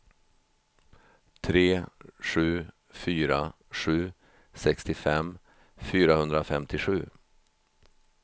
tre sju fyra sju sextiofem fyrahundrafemtiosju